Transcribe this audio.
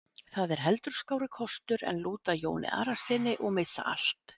Það er heldur skárri kostur en lúta Jóni Arasyni og missa allt.